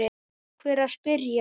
Takk fyrir að spyrja!